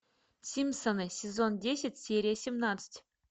симпсоны сезон десять серия семнадцать